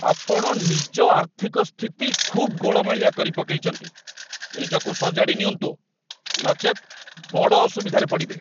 ଆପଣ ନିଜ ଆର୍ଥିକ ସ୍ଥିତି ଖୁବ୍ ଗୋଳମାଳିଆ କରି ପକେଇଚନ୍ତି! ନିଜକୁ ସଜାଡ଼ି ନିଅନ୍ତୁ, ନଚେତ୍, ବଡ଼ ଅସୁବିଧାରେ ପଡ଼ିବେ।